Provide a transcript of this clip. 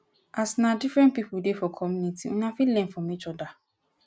as na different pipo dey for community una fit learn from each oda